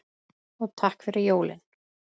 Og takk fyrir jólin.